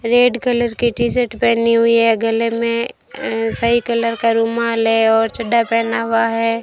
Red colour के T shirt पहनी हुई है गले में अह सही कलर का रुमाल है और चड्ढा पहना हुआ है।